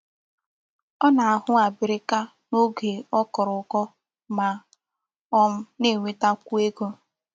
O na-ahu abirika n'oge o koro uko ma um na-enweta kwu ego.